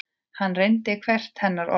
Hann reyndi hvert hennar orð.